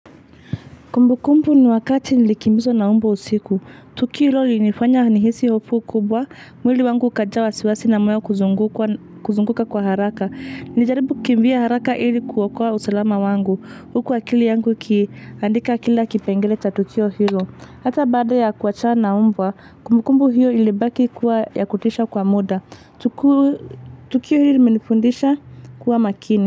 Kumbukumbu ni wakati nilikimbizwa na mbwa usiku. Tukiro lilinifanya nihisi hofu kubwa. Mwili wangu ukajaa wasiwasi na moyo kuzunguka kwa haraka. Nilijaribu kukimbia haraka hili kuokoa usalama wangu. Huku akili yangu ikiaandika kila kipengele cha tukio hilo. Hata baada ya kuwachana mbwa kumbukumbu hilo ilibaki kuwa ya kutisha kwa muda. Tukio hili limenifundisha kuwa makini.